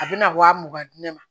A bɛna wa mugan di ne ma